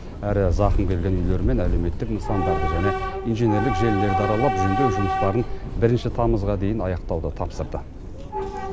әрі зақым келген үйлер мен әлеуметтік нысандарды және инженерлік желілерді аралап жөндеу жұмыстарын бірінші тамызға дейін аяқтауды тапсырды